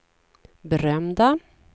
berömda